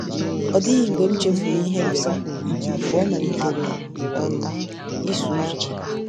Ọ dịghị mgbe m chefuru ihe Lisa kwuru mgbe ọ malitere um ịsụ ụzọ.